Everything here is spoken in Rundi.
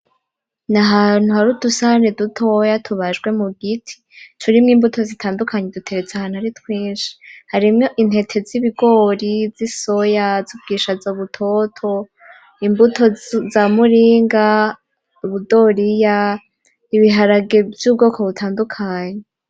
N'ahantu har'udusahani dutoya tubajwe mu giti, turimwo imbuto zitandukanye duteretse ahantu ari twinshi, harimwo intete z'ibigori, z'isoya, z'ubwishaza butoto, imbuto za muringa, ubudoriya, ibiharage vy'ubwoko butandukanye.